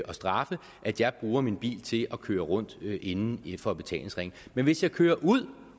og straffe at jeg bruger min bil til at køre rundt inden for betalingsringen men hvis jeg kører ud